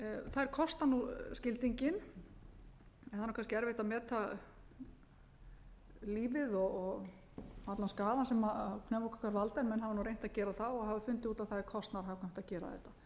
þær kosta skildinginn en það er kannski erfitt að meta lífið og allan skaðann sem pneumókokkar valda en menn hafa reynt að gera það og hafa fundið út að það er kostnaðarhagkvæmt að gera þetta